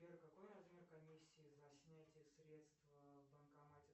сбер какой размер комиссии за снятие средств в банкомате